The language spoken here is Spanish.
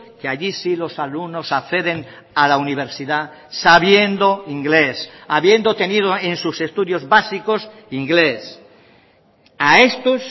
que allí sí los alumnos acceden a la universidad sabiendo inglés habiendo tenido en sus estudios básicos inglés a estos